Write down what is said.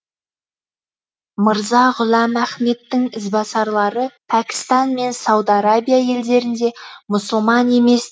мырза ғұләм ахмедтің ізбасарлары пәкістан мен сауд арабия елдерінде мұсылман емес